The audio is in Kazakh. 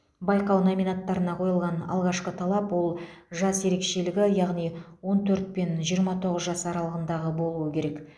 байқау номинаттарына қойылған алғашқы талап ол жас ерекшелігі яғни он төрт пен жиырма тоғыз жас аралығындағы болуы керек